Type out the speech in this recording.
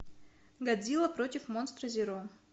годзилла против монстра зеро